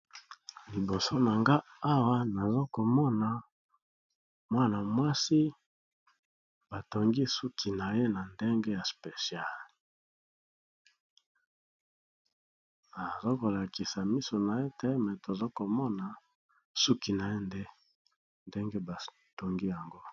Liboso na nga awa nazokomona mwana mwasi batongi suki na ye na ndenge ya speciale. Azokolakisa misu na ye te me tozokomona suki na ye nde ndenge batongi yango.